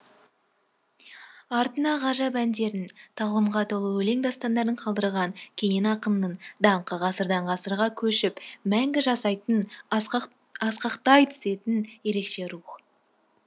артына ғажап әндерін тағлымға толы өлең дастандарын қалдырған кенен ақынның даңқы ғасырдан ғасырға көшіп мәңгі жасайтын асқақтай түсетін ерекше рух